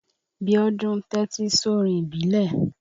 Biọ́dún ń tẹ́tí sórin ìbílẹ̀.